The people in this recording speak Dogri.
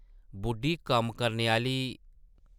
बुड्ढी कम्म करने आह्ली.... ।